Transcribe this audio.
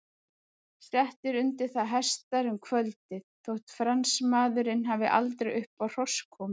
Settir undir það hestar um kvöldið, þótt Fransmaðurinn hafi aldrei upp á hross komið.